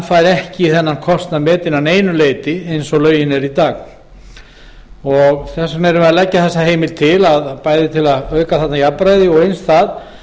fær ekki þennan kostnað metinn að neinu leyti eins og lögin eru í dag þess vegna leggjum við heimildina til bæði til að auka jafnræði og eins